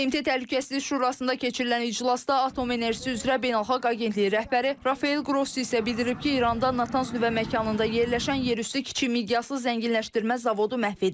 BMT Təhlükəsizlik Şurasında keçirilən iclasda Atom Enerjisi üzrə Beynəlxalq Agentliyi rəhbəri Rafael Grossi isə bildirib ki, İranda Natans nüvə məkanında yerləşən yerüstü kiçik miqyaslı zənginləşdirmə zavodu məhv edilib.